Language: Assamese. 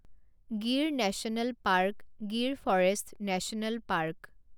Gir national park Gir forest national park